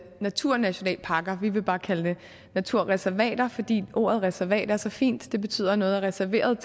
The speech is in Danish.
naturnationalparker vi vil bare kalde det naturreservater fordi ordet reservat er så fint det betyder at noget er reserveret